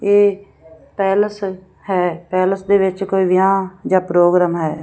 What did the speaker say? ਇਹ ਪੈਲੇਸ ਹੈ ਪੈਲੇਸ ਦੇ ਵਿੱਚ ਕੋਈ ਵਿਆਹ ਜਾਂ ਪ੍ਰੋਗਰਾਮ ਹੈ।